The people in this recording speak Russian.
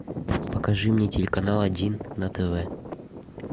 покажи мне телеканал один на тв